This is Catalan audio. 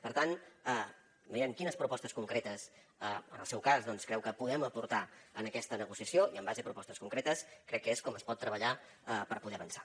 per tant vegem quines propostes concretes en el seu cas doncs creu que podem aportar en aquesta negociació i en base a propostes concretes crec que és com es pot treballar per poder avançar